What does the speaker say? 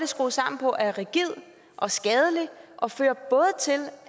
skruet sammen på er rigid og skadelig og fører både til